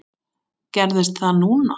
Gerðist það núna?